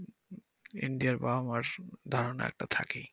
ইন্ডিয়ার বাবা-মার ধারণা একটা থাকেই।